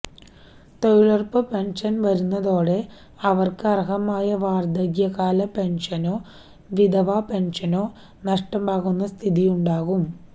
തൊഴിലുറപ്പ് പെന്ഷന് വരുന്നതോടെ അവര്ക്ക് അര്ഹമായ വാര്ധക്യകാല പെന്ഷനോ വിധവാ പെന്ഷനോ നഷ്ടമാവുന്ന സ്ഥിതിയുണ്ടാവും